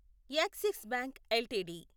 axis bank LTD